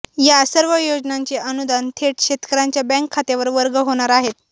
या सर्व योजनांचे अनुदान थेट शेतकर्यांच्या बँक खात्यावर वर्ग होणार आहे